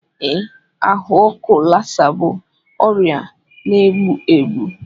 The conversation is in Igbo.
Ee, ahụ ọkụ Lassa bụ ọrịa na-egbu egbu.